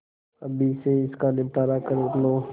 अभी से इसका निपटारा कर लो